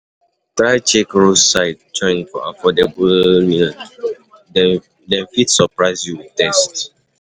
Try check roadside joint for affordable meal; yan dem, dem fit surprise you with taste.